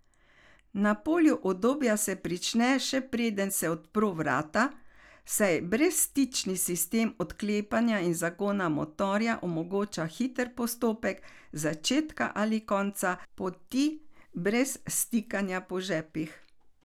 Na polju udobja se prične, še preden se odpro vrata, saj brezstični sistem odklepanja in zagona motorja omogoča hiter postopek začetka ali konca poti brez stikanja po žepih.